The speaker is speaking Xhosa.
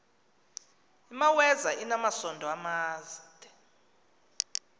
imaweza inamasond amade